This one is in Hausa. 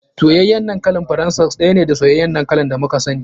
Soyayyar dankali faransa ɗaya ne da soyayyan dankali da muka sani.